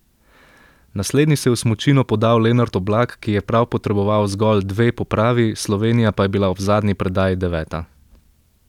Naslednji se je v smučino podal Lenart Oblak, ki je prav potreboval zgolj dve popravi, Slovenija pa je bila ob zadnji predaji deveta.